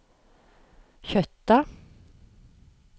Kjøtta